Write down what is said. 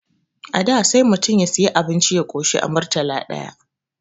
A da sai mutum ya siyu abinci ya koshi a Murtala ɗaya